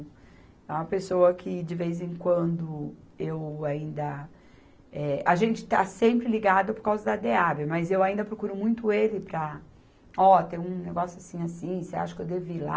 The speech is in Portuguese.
É uma pessoa que, de vez em quando, eu ainda, eh, a gente está sempre ligado por causa da Dehab, mas eu ainda procuro muito ele para, Ó, tem um negócio assim, assim, você acha que eu devo ir lá?